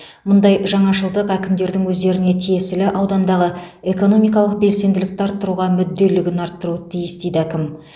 мұндай жаңашылдық әкімдердің өздеріне тиесілі аудандағы экономикалық белсенділікті арттыруға мүдделілігін арттыруы тиіс дейді әкім